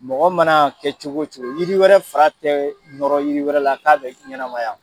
Mɔgɔ mana kɛ cogo cogo, yiri wɛrɛ fara tɛ nɔrɔ yiri wɛrɛ la k'a be ɲɛnamaya.